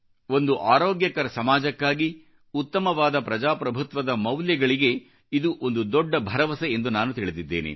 ಒಂದು ಆರೋಗ್ಯಕರ ಸಮಾಜಕ್ಕಾಗಿ ಉತ್ತಮವಾದ ಪ್ರಜಾಪ್ರಭುತ್ವದ ಮೌಲ್ಯಗಳಿಗೆ ಇದು ಒಂದು ದೊಡ್ಡ ಭರವಸೆ ಎಂದು ನಾನು ತಿಳಿದಿದ್ದೇನೆ